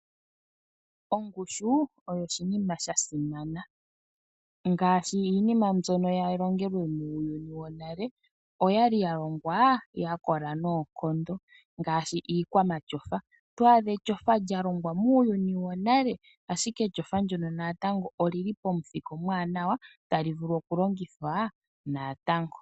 Ongushu oyo oshinima sha simana ngaashi iinima mbyono ya longelwe muuyuni wonale oya li ya longwa ya kola noonkondo ngaashi iikwamatyofa. Oto adha etyofa lya longwa muuyuni wonale, shike etyofa ndyoka oli li pamuthika omuwanwa tali vulu okulongithwa natango.